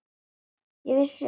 Ég vissi ekki hver hún var.